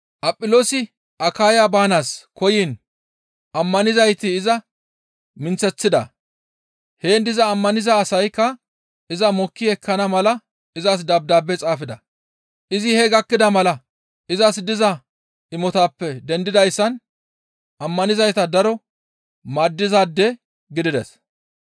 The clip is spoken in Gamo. Aphiloosi Akaya baanaas koyiin ammanizayti iza minththeththida; heen diza ammaniza asaykka iza mokki ekkana mala izas dabdaabe xaafida; izi hee gakkida mala izas diza imotaappe dendidayssan ammanizayta daro maaddizaade gidides.